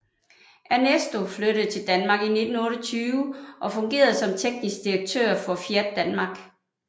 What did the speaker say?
Ernesto flyttede til Danmark i 1928 og fungerede som teknisk direktør for Fiat Danmark